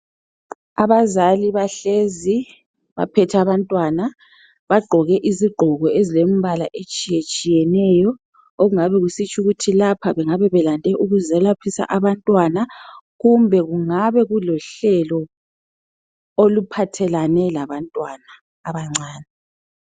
Abazali bahlezi baphethe abantwana bagqoke izigqoko ezilembala etshiye tshiyeneyo okungabe kusitsho ukuthi lapha bengabe belande ukuzoyelaphisa abantwana kumbe kungane kulohlelo oluphathelane labantwana abancane.